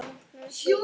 Öllum opið.